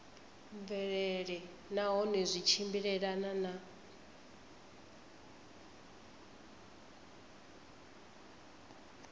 mvelelo nahone zwi tshimbilelana na